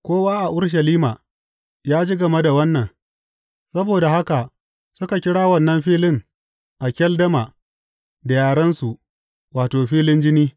Kowa a Urushalima ya ji game da wannan, saboda haka suka kira wannan filin Akeldama, da yarensu, wato, Filin Jini.